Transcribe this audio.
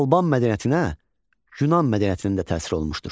Alban mədəniyyətinə Yunan mədəniyyətinin də təsir olunmuşdur.